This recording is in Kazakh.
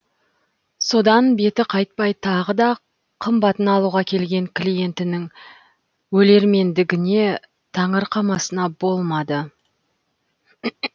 содан беті қайтпай тағы да қымбатын алуға келген клиентінің өлермендігіне таңырқамасына болмады